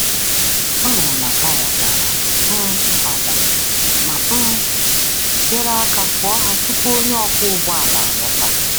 Ọ hụrụ na taya dara um ada ma um nyere aka fụọ ha tupu onye ọkwọ ụgbọ ala alọta.